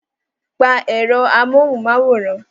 Pa èrò amóhunmáwòrán!